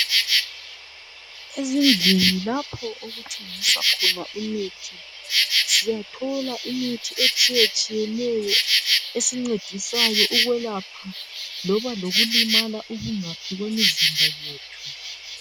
Ezindlini lapho okuthengiswa khona imithi siyathola imithi etshiyetshiyeneyo esincedisayo ukwelapha loba lokulimala okungaphi kwemizimba yethu.